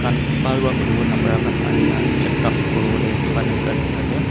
bhal para hune bole na para khan ahena checkup kori bole dukan ekta dekhi ase.